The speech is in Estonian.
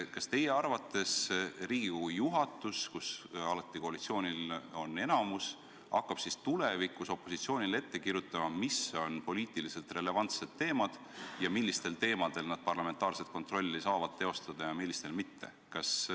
Kas teie arvates Riigikogu juhatus, kus koalitsioonil on alati enamus, hakkab siis tulevikus opositsioonile ette kirjutama, mis on poliitiliselt relevantsed teemad ning millistel juhtudel nad saavad parlamentaarset kontrolli teostada ja millistel mitte?